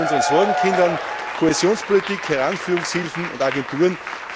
Letztlich zu unseren Sorgenkindern Kohäsionspolitik, Heranführungshilfen und Agenturen.